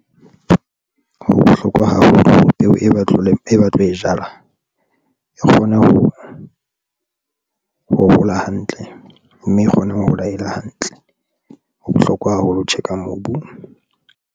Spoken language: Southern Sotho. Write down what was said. Ho bohlokwa haholo peo e ba tlo e jala e kgone ho hola hantle mme e kgone ho hola ele hantle. Ho bohlokwa haholo ho check-a mobu.